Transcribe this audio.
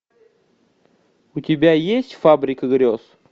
у тебя есть фабрика грез